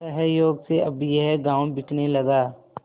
संयोग से अब यह गॉँव बिकने लगा